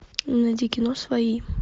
найди кино свои